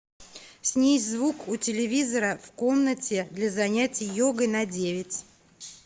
снизь звук у телевизора в комнате для занятия йогой на девять